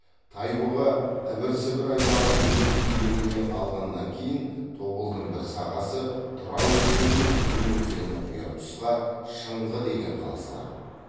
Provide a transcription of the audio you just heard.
тайбұға ібір сібір аймағын өз иелігіне алғаннан кейін тобылдың бір сағасы тұра өзеніне төмен өзені құяр тұсқа шыңғы деген қала салады